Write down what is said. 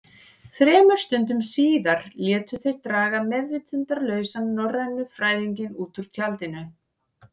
Þremur stundum síðar létu þeir draga meðvitundarlausan norrænufræðinginn út úr tjaldinu.